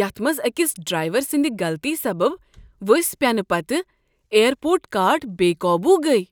یتھ منٛز اکِس ڈرٛایور سٕندِ غلطی سبب ؤسۍ پٮ۪نہٕ پتہٕ ایر پورٹ کارٹ بےقوبوٗ گٔیہِ۔